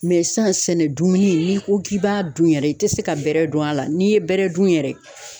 sisan sɛnɛ dumuni n'i ko k'i b'a dun yɛrɛ i te se ka bɛrɛ dun a la n'i ye bɛrɛ dun yɛrɛ.